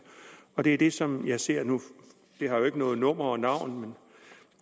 og det er det som jeg ser nu det har jo ikke noget nummer eller navn men